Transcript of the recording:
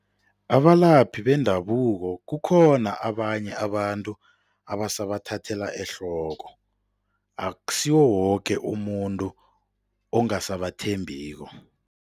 Abalaphi bendabuko kukhona abanye abantu abasabathathelwa ehloko, akusiwo woke umuntu ongasabathembiko.